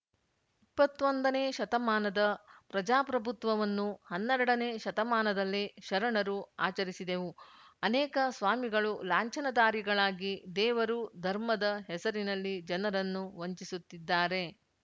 ಇಪ್ಪತೊಂದನೇ ಶತಮಾನದ ಪ್ರಜಾಪ್ರಭುತ್ವವನ್ನು ಹನ್ನೆರಡನೇ ಶತಮಾನದಲ್ಲೇ ಶರಣರು ಆಚರಿಸಿದೆವು ಅನೇಕ ಸ್ವಾಮಿಗಳು ಲಾಂಛನದಾರಿಗಳಾಗಿ ದೇವರು ಧರ್ಮದ ಹೆಸರಿನಲ್ಲಿ ಜನರನ್ನು ವಂಚಿಸುತ್ತಿದ್ದಾರೆ